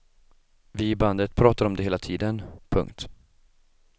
Vi i bandet pratar om det hela tiden. punkt